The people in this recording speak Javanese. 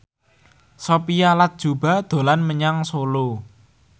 Sophia Latjuba dolan menyang Solo